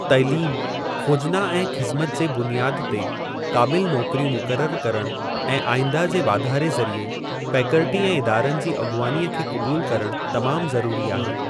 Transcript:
तइलीम, खोजना ऐं ख़िज़मत जे बुनियाद ते क़ाबिल नौकिरियूं मुकररु करणु ऐं आईंदह जे वाधारे ज़रीए फैकल्टी ऐं इदारनि जी अॻुवानीअ खे क़बूलु करणु तमामु ज़रूरी आहे।